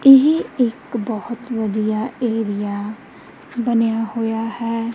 ਇਹ ਇੱਕ ਬੋਹਤ ਵਧੀਆ ਏਰੀਆ ਬਨੇਯਾ ਹੋਇਆ ਹੈ।